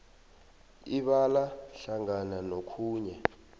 ibala hlangana nokhunye